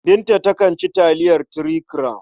Binta takan ci taliyar Three Crown.